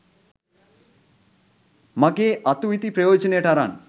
මගේ අතු ඉති ප්‍රයෝජනයට අරන්